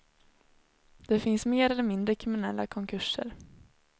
Det finns mer eller mindre kriminella konkurser.